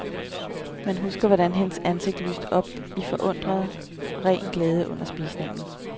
Man husker, hvordan hendes ansigt lyste op i forundret, ren glæde under spisningen.